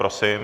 Prosím.